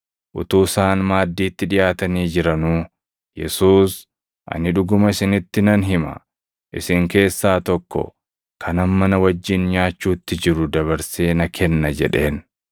Utuu isaan maaddiitti dhiʼaatanii jiranuu Yesuus, “Ani dhuguma isinitti nan hima; isin keessaa tokko, kan amma na wajjin nyaachuutti jiru dabarsee na kenna” jedheen.